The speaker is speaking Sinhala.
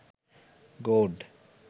god